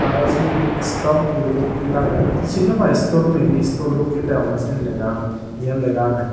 aro sibey hi stop guri dokke lagey tey sin naw pai store mebi store dokke degongey sei legaan jiyen lega agey.